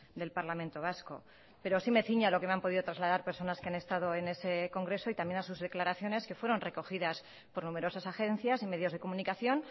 del parlamento vasco pero sí me ciño a lo que me han podido trasladar personas que han estado en ese congreso y también a sus declaraciones que fueron recogidas por numerosas agencias y medios de comunicación